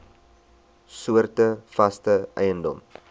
soorte vaste eiendom